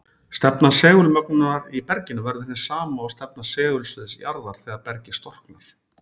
Stefna segulmögnunar í berginu verður hin sama og stefna segulsviðs jarðar þegar bergið storknar.